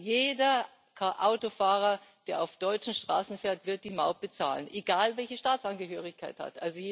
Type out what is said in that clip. Jeder Autofahrer, der auf deutschen Straßen fährt, wird die Maut bezahlen, egal, welche Staatsangehörigkeit er hat.